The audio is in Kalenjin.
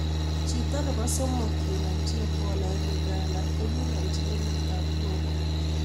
Chito nebo somok kenamchi Ebola Uganda koginamchi emet ap Congo